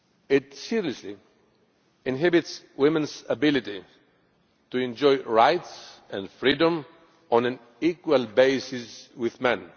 It seriously inhibits women's ability to enjoy rights and freedom on an equal basis with men.